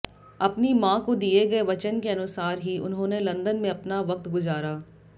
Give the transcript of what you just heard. अपनी मां को दिए गए वचन के अनुसार ही उन्होंने लंदन में अपना वक्त गुजारा